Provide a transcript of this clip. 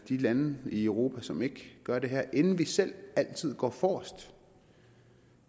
de lande i europa som ikke gør det her inden vi selv altid går forrest